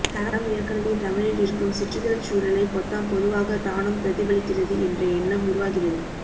தடம் ஏற்கனவே தமிழில் இருக்கும் சிற்றிதழ்ச்சூழலை பொத்தாம்பொதுவாக தானும் பிரதிபலிக்கிறது என்ற எண்ணம் உருவாகிறது